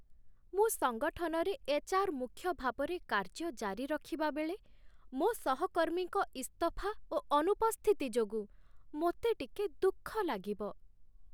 ମୁଁ ସଙ୍ଗଠନରେ ଏଚ୍.ଆର୍. ମୁଖ୍ୟ ଭାବରେ କାର୍ଯ୍ୟ ଜାରି ରଖିବା ବେଳେ ମୋ ସହକର୍ମୀଙ୍କ ଇସ୍ତଫା ଓ ଅନୁପସ୍ଥିତି ଯୋଗୁଁ ମୋତେ ଟିକେ ଦୁଃଖ ଲାଗିବ।